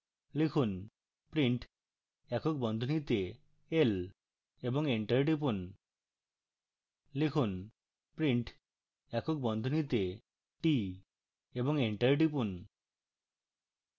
লিখুন print একক বন্ধনীতে l এবং enter টিপুন